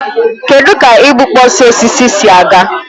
Kedụ ka igbukpọsị osisi si aga?